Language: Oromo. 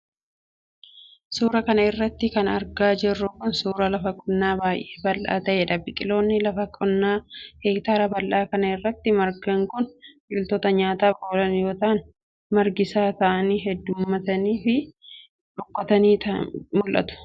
Suura kana irratti kan argaa jirru kun, suura lafa qonnaa baay'ee bal'aa ta'ee dha. Biqilooni lafa qonnaa heektaara bal'aa kana irratti margan kun, biqiloota nyaataaf oolan yoo ta'an ,magariisa ta'ani hedduummatanii fi rukkataniii mul'atu.